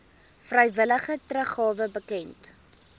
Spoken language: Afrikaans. vrywillige teruggawe bekend